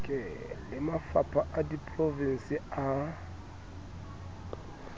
le mafapha a diprovense a